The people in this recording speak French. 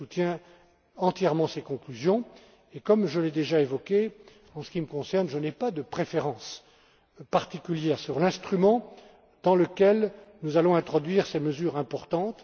Je soutiens entièrement ces conclusions et, comme je l'ai déjà évoqué, en ce qui me concerne, je n'ai pas de préférence particulière sur l'instrument par le biais duquel nous allons introduire ces mesures importantes.